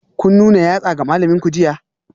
Kun nuna yatsa ga malaminku jiya?